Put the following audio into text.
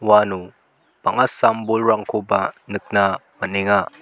uano bang·a sam-bolrangkoba nikna man·enga.